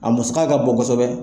A musaka k'a bon kosɛbɛ.